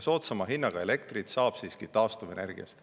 Soodsama hinnaga elektrit saab siiski taastuvenergiast.